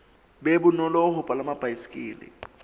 be bonolo ho palama baesekele